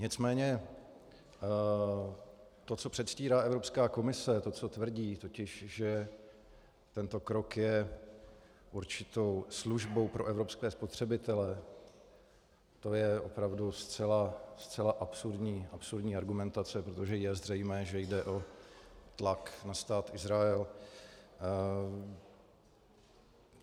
Nicméně to, co předstírá Evropská komise, to, co tvrdí, totiž že tento krok je určitou službou pro evropské spotřebitele, to je opravdu zcela absurdní argumentace, protože je zřejmé, že jde o tlak na Stát Izrael.